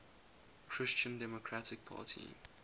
christian democratic party